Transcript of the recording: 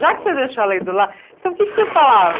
Já que você deixou ela aí do lado, então o que é que você falar?